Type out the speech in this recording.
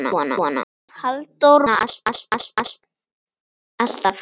Halldór var þarna alltaf.